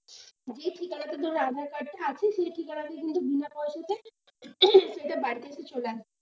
যে ঠিকানায় তোর aadhaar card টা আছে সে ঠিকানাই কিন্তু বিনা পয়সাতে, সেটা বাড়িতে এসে চলে আসবে।